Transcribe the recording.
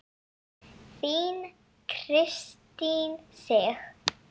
Þín Kristín Sig.